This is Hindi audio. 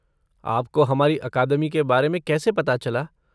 आपको हमारी अकादमी के बारे में कैसे पता चला?